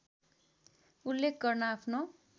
उल्लेख गर्न आफ्नो